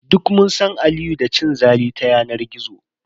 Duk mun san Aliyu da cin zali ta yanar gizo.